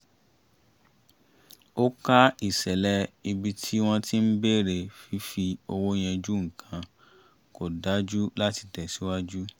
ó ká ìṣẹ̀lẹ̀ ibi tí wọ́n ti ń bèrè fífi owó yanjú nǹkan kò dájú láti tẹ̀síwájú